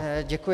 Děkuji.